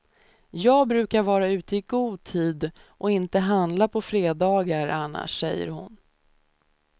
Jag brukar vara ute i god tid och inte handla på fredagar annars, säger hon.